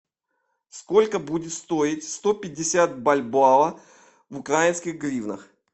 сколько будет стоить сто пятьдесят бальбоа в украинских гривнах